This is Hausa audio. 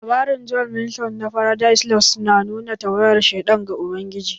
Labarin John Milton na 'Faradise lost' na nuna tawayen sheɗan ga ubangiji